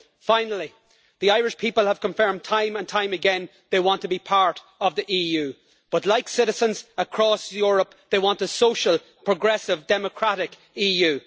Finally, the Irish people have confirmed, time and time again, that they want to be part of the EU but, like citizens across Europe, they want a social, progressive and democratic EU.